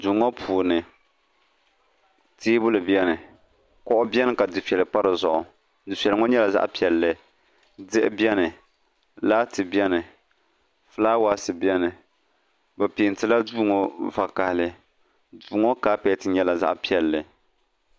duu ŋɔ puuni teebuli beni kuɣu beni ka difeli pa di zuɣu difeli ŋɔ nyɛla zaɣ' piɛlli diɣi beni laati beni fulaawasi beni bɛ peenti la duu ŋɔ vakahili duu ŋɔ kapeeti nyɛla zaɣ' piɛlli